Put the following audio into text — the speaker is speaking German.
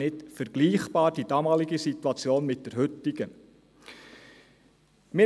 Die damalige Situation ist mit der heutigen nicht vergleichbar.